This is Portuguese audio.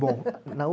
Bom